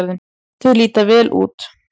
Þau líta vel út.